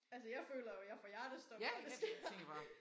Altså jeg føler jo jeg får hjertestop når det sker